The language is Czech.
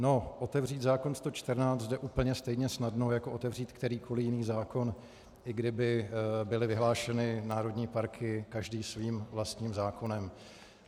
No, otevřít zákon 114 jde úplně stejně snadno jako otevřít kterýkoliv jiný zákon, i kdyby byly vyhlášeny národní parky každý svým vlastním zákonem.